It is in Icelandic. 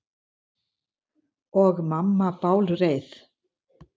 Og mamma bálreið.